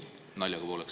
Naljaga pooleks.